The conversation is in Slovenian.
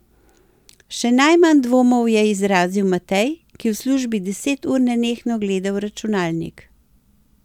Še najmanj dvomov je izrazil Matej, ki v službi deset ur nenehno gleda v računalnik.